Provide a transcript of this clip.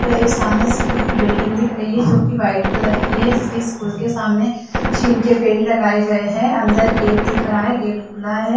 एक सामने स्कूल की बिल्डिंग दिख रही है जो कि वाइट कलर की है इसके स्कूल के सामने छीन के पेड़ लगाए गए है अंदर गेट दिख रहा है गेट खुला है।